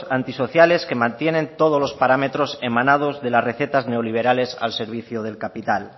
antisociales que mantienen todos los parámetros emanados de las recetas neoliberales al servicio del capital